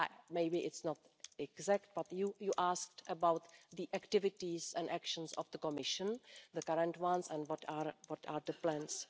Maybe it's not exact but you asked about the activities and actions of the Commission, the current ones and what are the plans.